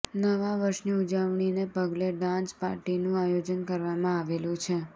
નવા વર્ષની ઉજવણીને પગલે ડાન્સ પાર્ટીનું આયોજન કરવામાં આવેલું છે